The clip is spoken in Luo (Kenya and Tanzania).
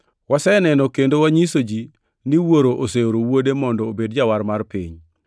Waseneno kendo wanyiso ji ni Wuoro oseoro Wuode mondo obed Jawar mar piny.